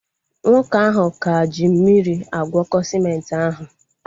Nwoke ahụ ka ji mmiri agwọko sịmenti ahu